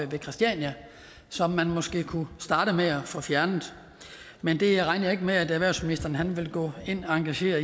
ved christiania som man måske kunne starte med at få fjernet men det regner jeg ikke med at erhvervsministeren vil gå ind og engagere